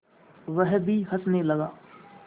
वह भी हँसने लगा